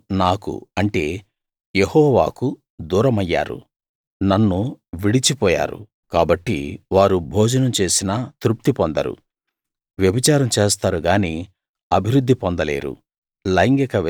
వారు నాకు అంటే యెహోవాకు దూరమయ్యారు నన్ను విడిచిపోయారు కాబట్టి వారు భోజనం చేసినా తృప్తి పొందరు వ్యభిచారం చేస్తారు గానీ అభివృద్ధి పొందలేరు